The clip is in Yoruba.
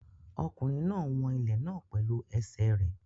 Ọkùnrin náà ń wọn ilẹ̀ náà pẹ̀lú ẹsẹ̀ rẹ̀.